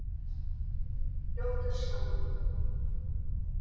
Ljót er sagan.